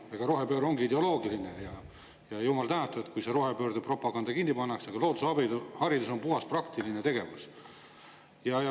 Rohepööre ongi ideoloogiline ja jumal tänatud, kui rohepöörde propaganda kinni pannakse, aga loodusharidus on puhtalt praktiline tegevus.